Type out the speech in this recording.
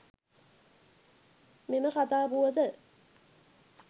මෙම කතා පුවත